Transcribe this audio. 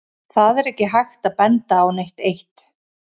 Það er ekki hægt að benda á neitt eitt.